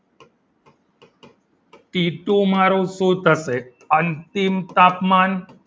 ટીટુ મારું શું થશે અંતિમ તાપમાન.